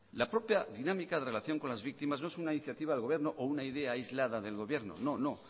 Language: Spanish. la propia dinámica de relación con las víctimas no es una iniciativa del gobierno o una idea aislada del gobierno no